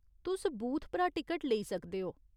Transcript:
तुस बूथ परा टिकट लेई सकदे ओ।